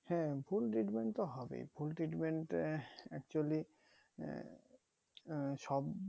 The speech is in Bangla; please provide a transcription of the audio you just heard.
হ্যাঁ ভুল treatment তো হবেই ভুল treatment আঃ actually সব